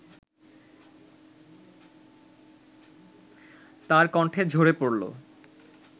তার কন্ঠে ঝরে পড়লো